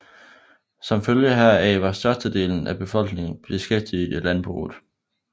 Som følge heraf var størstedelen af befolkningen beskæftiget i landbruget